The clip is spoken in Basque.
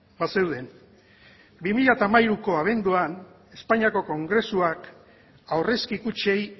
bazeuden bi mila hamairuko abenduan espainiako kongresuak aurrezki kutxei